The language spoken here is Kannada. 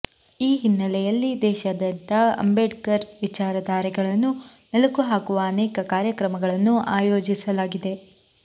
ಈ ಹಿನ್ನೆಲೆಯಲ್ಲಿ ದೇಶಾದ್ಯಂತ ಅಂಬೇಡ್ಕರ್ ವಿಚಾರಧಾರೆಗಳನ್ನು ಮೆಲುಕು ಹಾಕುವ ಅನೇಕ ಕಾರ್ಯಕ್ರಮಗಳನ್ನು ಆಯೋಜಿಸಲಾಗಿದೆ